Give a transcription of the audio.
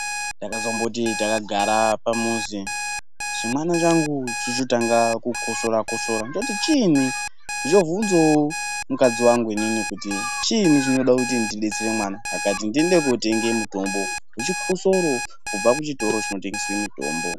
Takazomboti takagara pamuzi chimwana changu chochotange kukotsora kotsora ndochiti chini ndochobvunzawo mukadzi wangu inini kuti chini chinode kuti ndidetsere mwana akati ndiende kotenga mutombo wechikotsoro kubva kuchitoro chinotengese mutombo.